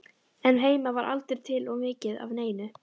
En heima var aldrei til of mikið af neinu.